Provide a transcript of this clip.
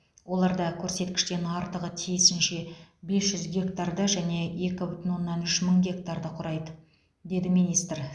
оларда көрсеткіштен артығы тиісінше бес жүз гектарды және екі бүтін оннан үш мың гектарды құрайды деді министр